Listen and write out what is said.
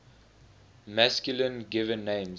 masculine given names